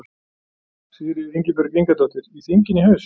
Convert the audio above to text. Sigríður Ingibjörg Ingadóttir: Í þinginu í haust?